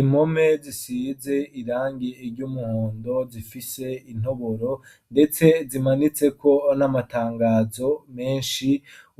Impome zisize irangie iryo umuhondo zifise intoboro, ndetse zimanitseko n'amatangazo menshi